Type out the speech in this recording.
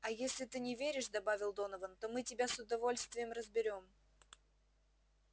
а если ты не веришь добавил донован то мы тебя с удовольствием разберём